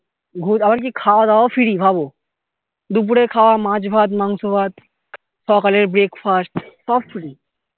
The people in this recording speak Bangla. আবার কি খাওয়া দাওয়াও free ভাবো দুপুরের খাওয়া মাছ ভাত মাংস ভাত সকালের breakfast সব free